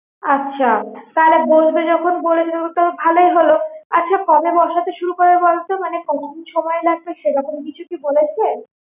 আচ্ছা তাহলে বসবে যখন বলেছে তো ভালোই হলো আচ্ছা কবে বসাতে শুরু করবে বল তো? আচ্ছা কতদিন সময় লাগবে সেরকম কিছু কি বলেছে?